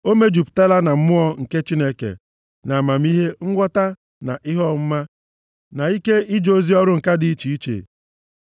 O mejupụtala na Mmụọ nke Chineke, nʼamamihe, nghọta na ihe ọmụma na ike ije ozi ọrụ ǹka dị iche iche.